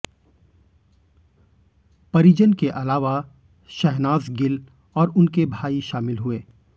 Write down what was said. परिजन के अलावा शहनाज गिल और उनके भाई शामिल हुए